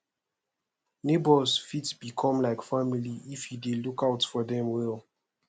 neighbors fit become like family if you dey look out for dem well